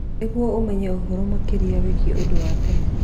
nĩguo ũmenye ũhoro makĩria wĩgiĩ ũndũ wa tene